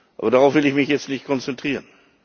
Aber darauf will ich mich jetzt nicht konzentrieren.